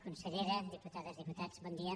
consellera diputades diputats bon dia